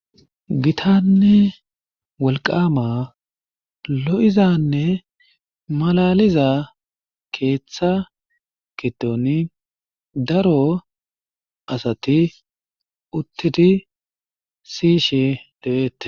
Gittanne wolqqama lo'izanne malaliza keeththa gidoni daro asati uttidi siyishe deetees.